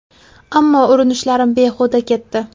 Ammo urinishlarim behuda ketdi.